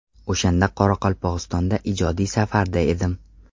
O‘shanda Qoraqalpog‘istonda ijodiy safarda edim.